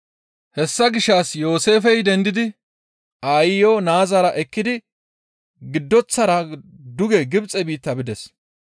Hessa gishshas Yooseefey dendidi aayiyo naazara ekkidi giddoththara duge Gibxe biitta bides.